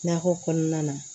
Nakɔ kɔnɔna na